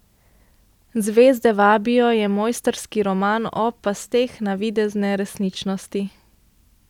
Zvezde vabijo je mojstrski roman o pasteh navidezne resničnosti.